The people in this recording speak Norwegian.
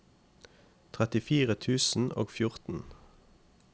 trettifire tusen og fjorten